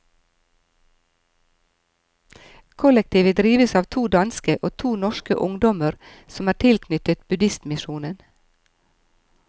Kollektivet drives av to danske og to norske ungdommer som er tilknyttet buddhistmisjonen.